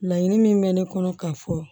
Laɲini min bɛ ne kɔnɔ k'a fɔ